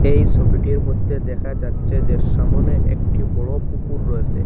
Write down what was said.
এই সবিটির মধ্যে দেখা যাচ্ছে যে সামনে একটি বড় পুকুর রয়েসে।